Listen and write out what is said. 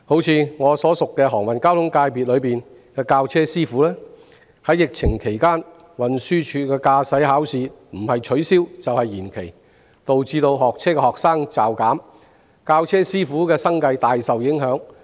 以我熟識的航運交通界別來說，在疫情期間，運輸署的駕駛考試不是取消，就是延期，導致學車的學生驟減，教車師傅的生計大受影響。